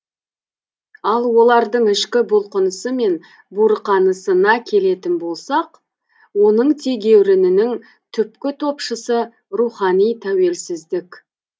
ал олардың ішкі бұлқынысы мен буырқанысына келетін болсақ оның тегеурінінің түпкі топшысы рухани тәуелсіздік